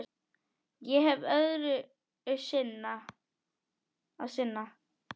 Ég hef öðru að sinna.